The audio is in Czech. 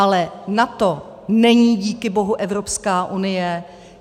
Ale NATO není díky bohu Evropská unie.